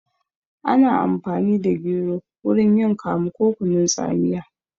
Ana amfani da gero wurin yin kamu ko kunun tsamiya